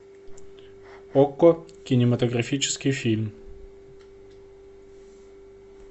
окко кинематографический фильм